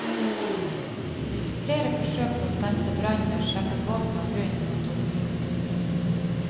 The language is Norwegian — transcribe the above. Flere forsøk på stanse brannen og slepe båten av grunn måtte oppgis.